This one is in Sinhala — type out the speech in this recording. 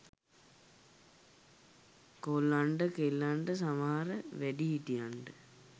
කොල්ලන්ට කෙල්ලන්ට සමහර වැඩි හිටියන්ට